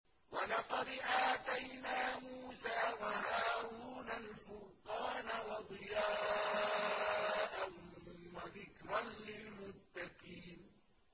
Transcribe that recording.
وَلَقَدْ آتَيْنَا مُوسَىٰ وَهَارُونَ الْفُرْقَانَ وَضِيَاءً وَذِكْرًا لِّلْمُتَّقِينَ